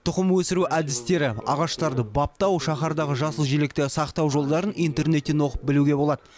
тұқым өсіру әдістері ағаштарды баптау шаһардағы жасыл желекті сақтау жолдарын интернеттен оқып білуге болады